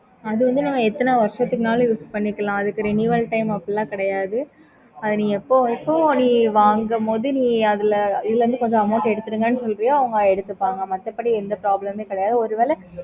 okay mam